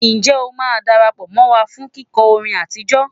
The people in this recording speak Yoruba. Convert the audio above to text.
Ǹjẹ́ o máa darapọ̀ mọ́ wa fún kíkọ́ orin àtijọ́?